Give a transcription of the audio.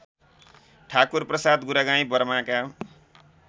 Thakurprasad Guragain बर्माका